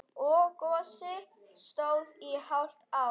Gosið stóð í hálft ár.